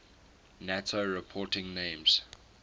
nato reporting names